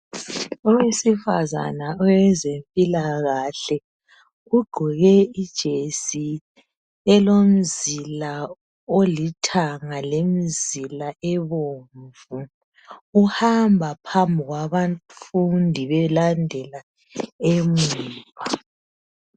Owesifazana owezempilakahle ugqoke ijesi elomizila elithanga lemzila ebomvu. Uhamba phambi kwabafundi belandela emuva.